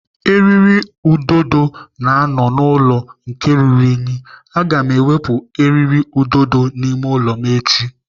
Eriri ududo na-anọ n'ụlọ nke ruru unyi. Aga m ewepụ eriri ududo n'ime ụlọ m echi.